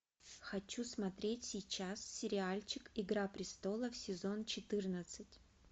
хочу смотреть сейчас сериальчик игра престолов сезон четырнадцать